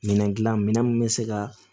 Minɛn dilan min bɛ se ka